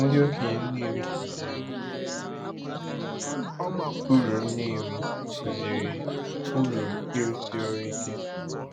Ndị okenye Nnewi kụziri uru Nnewi kụziri uru ịrụsi ọrụ ike.